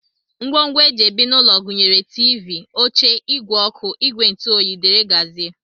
Ngwongwo e ji ebi n'ụlọ gụnyere tiivii, oche, ìgwè ọkụ, ìgwè ntụoyi, dgz